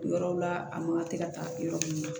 Yɔrɔw la a makan tɛ ka taa yɔrɔ min na